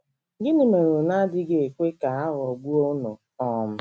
Gịnị mere unu adịghị ekwe ka e ghọgbuo unu? um ”